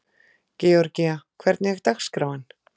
Georgía, hvernig er dagskráin?